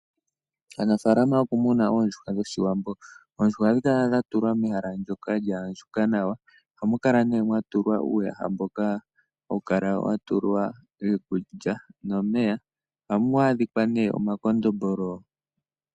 Aanafalama yokumuna oondjuhwa dhOshiwambo. Oondjuhwa ohadhi kala dha tulwa mehala ndoka lya andjuka nawa. Ohamu kala mee mwa tulwa uuyaha mboka hawu kala wa tulwa iikulya nomeya. Ohamu adhikwa nee omakondombolo.